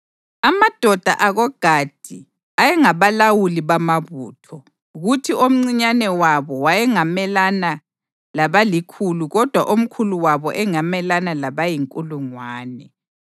Amadoda akoGadi ayengabalawuli bamabutho, kuthi omncinyane wabo wayengamelana labalikhulu kodwa omkhulu wabo engamelana labayinkulungwane.